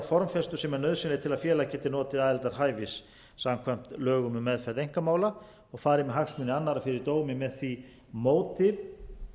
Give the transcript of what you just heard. formfestu sem er nauðsynleg til að félag geti notið aðildarhæfis samkvæmt lögum um meðferð einkamála og farið með hagsmuni annarra fyrir dómi með því móti